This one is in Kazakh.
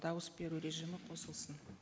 дауыс беру режимі қосылсын